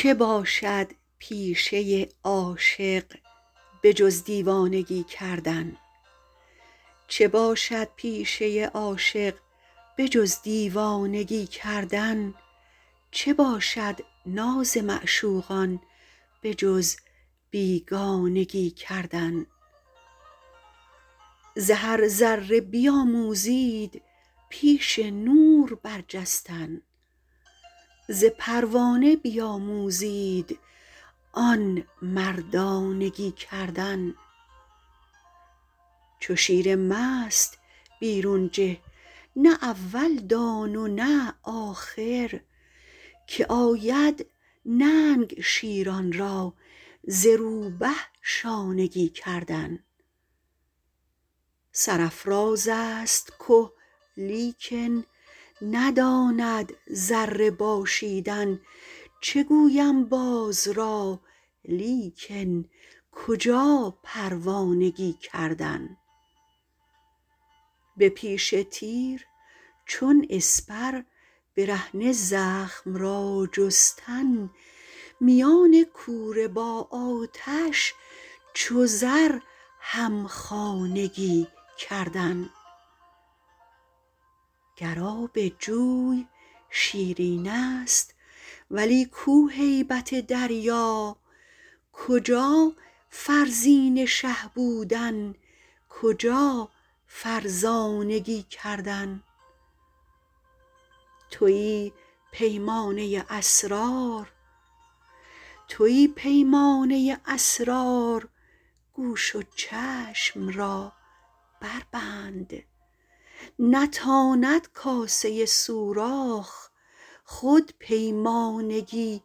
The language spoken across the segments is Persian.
چه باشد پیشه عاشق به جز دیوانگی کردن چه باشد ناز معشوقان به جز بیگانگی کردن ز هر ذره بیاموزید پیش نور برجستن ز پروانه بیاموزید آن مردانگی کردن چو شیر مست بیرون جه نه اول دان و نه آخر که آید ننگ شیران را ز روبه شانگی کردن سرافراز است که لیکن نداند ذره باشیدن چه گویم باز را لیکن کجا پروانگی کردن به پیش تیر چون اسپر برهنه زخم را جستن میان کوره با آتش چو زر همخانگی کردن گر آب جوی شیرین است ولی کو هیبت دریا کجا فرزین شه بودن کجا فرزانگی کردن توی پیمانه اسرار گوش و چشم را بربند نتاند کاسه سوراخ خود پیمانگی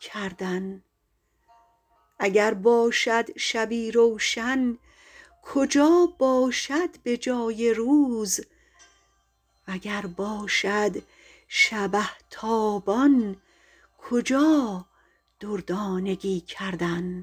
کردن اگر باشد شبی روشن کجا باشد به جای روز وگر باشد شبه تابان کجا دردانگی کردن